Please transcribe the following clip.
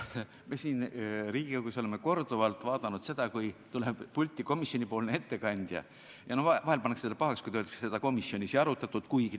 Me siin Riigikogus oleme korduvalt näinud, et kui tuleb pulti komisjoni ettekandja, siis vahel pannakse talle pahaks, kui ta ütleb küsimuse peale, et seda komisjonis ei arutatud.